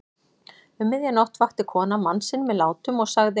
Um miðja nótt vakti konan mann sinn með látum og sagði